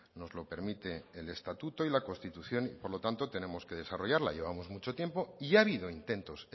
nos lo permite el estatuto y la constitución y por lo tanto tenemos que desarrollarla llevamos mucho tiempo y ha habido intentos